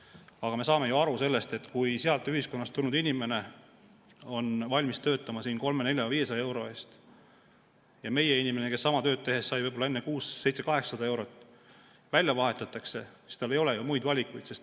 Aga me saame ju aru, et kui sealt ühiskonnast tulnud inimene on valmis töötama siin 300, 400, 500 euro eest ja meie inimene, kes sama tööd tehes sai võib-olla enne 600, 700, 800 eurot, välja vahetatakse, siis tal ei ole eriti valikut.